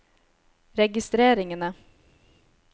registreringene